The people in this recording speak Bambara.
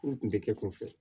O kun tɛ kɛ kunfɛ